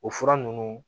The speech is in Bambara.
O fura ninnu